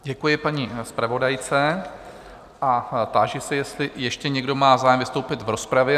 Děkuji paní zpravodajce a táži se, jestli ještě někdo má zájem vystoupit v rozpravě?